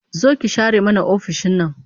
Zo ki share mana ofishin nan